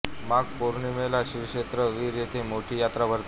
माघ पौर्णिमेला श्रीक्षेत्र वीर येथे मोठी यात्रा भरते